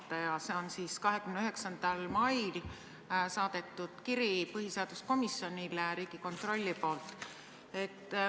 See on Riigikontrolli 29. mail saadetud kiri põhiseaduskomisjonile.